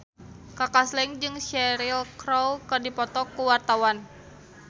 Kaka Slank jeung Cheryl Crow keur dipoto ku wartawan